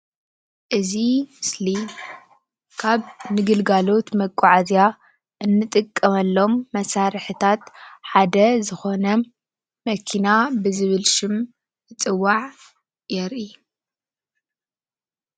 እዚ ምስሊ ናይ መጓዓዝያ መኪና እያ።